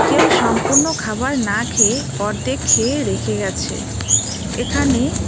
কেউ সম্পূর্ণ খাবার না খেয়ে অর্ধেক খেয়ে রেখে গেছে এখানে--